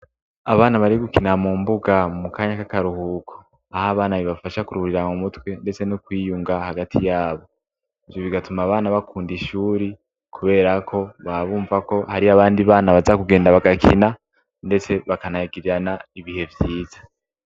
Abana bari gukina mu mbuga mu kanya k'akaruhuko, ah' abana bibafasha kururiramutwe ndetse no kwiyunga hagati yabo, ivyo bigatuma abana bakunda ishuri kubera ko baba bumva ko harih' abandi bana baza kugenda bagakina ,ndetse bakanagirirana ibihe vyiza.